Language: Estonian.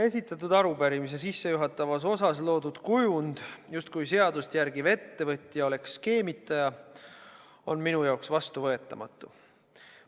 Esitatud arupärimise sissejuhatavas osas loodud kujund, justkui seadust järgiv ettevõtja oleks skeemitaja, on minu jaoks vastuvõetamatu.